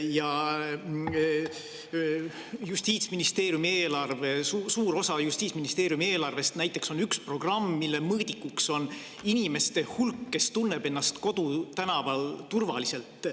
Näiteks on suur osa Justiitsministeeriumi eelarvest üks programm, mille mõõdik on inimeste hulk, kes tunneb ennast kodutänaval turvaliselt.